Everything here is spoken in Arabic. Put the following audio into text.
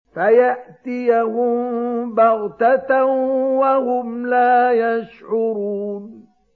فَيَأْتِيَهُم بَغْتَةً وَهُمْ لَا يَشْعُرُونَ